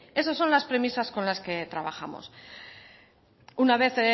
esas son las premisas con las que trabajamos una vez